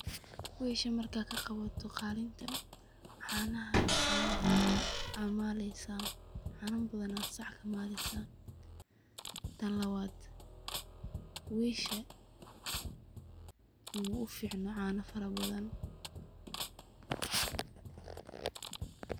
Wesha markad kaqawato qalinta, canaha aa maleysa, cana badan aya sac kamaleysa, tan lawad wesha muuficno cana farabadan.